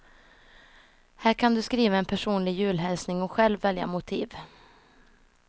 Här kan du skriva en personlig julhälsning och själv välja motiv.